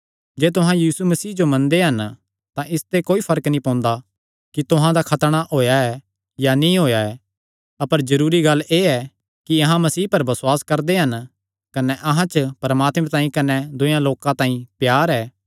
जे तुहां यीशु मसीह जो मनदे हन तां इसते कोई फर्क नीं पोंदा कि तुहां दा खतणा होएया या नीं होएया अपर जरूरी गल्ल एह़ ऐ कि अहां मसीह पर बसुआस करदे हन कने अहां च परमात्मे तांई कने दूये लोकां तांई प्यार ऐ